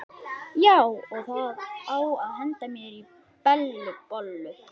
Já, og það á að henda mér í Bellu bollu.